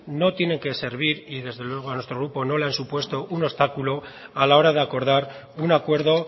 no tienen que servir y desde luego a nuestro grupo no le han supuesto un obstáculo a la hora de acordar un acuerdo